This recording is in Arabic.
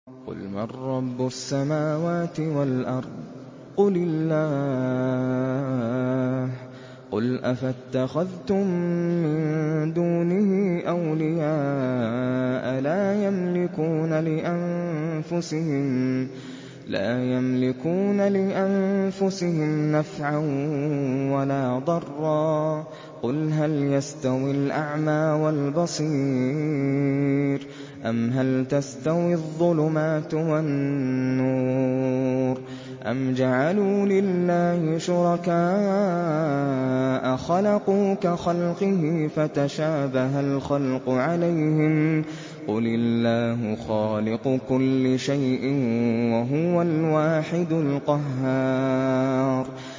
قُلْ مَن رَّبُّ السَّمَاوَاتِ وَالْأَرْضِ قُلِ اللَّهُ ۚ قُلْ أَفَاتَّخَذْتُم مِّن دُونِهِ أَوْلِيَاءَ لَا يَمْلِكُونَ لِأَنفُسِهِمْ نَفْعًا وَلَا ضَرًّا ۚ قُلْ هَلْ يَسْتَوِي الْأَعْمَىٰ وَالْبَصِيرُ أَمْ هَلْ تَسْتَوِي الظُّلُمَاتُ وَالنُّورُ ۗ أَمْ جَعَلُوا لِلَّهِ شُرَكَاءَ خَلَقُوا كَخَلْقِهِ فَتَشَابَهَ الْخَلْقُ عَلَيْهِمْ ۚ قُلِ اللَّهُ خَالِقُ كُلِّ شَيْءٍ وَهُوَ الْوَاحِدُ الْقَهَّارُ